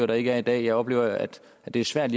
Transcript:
der ikke er i dag jeg oplever at det er svært